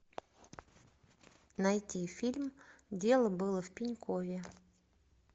найти фильм дело было в пенькове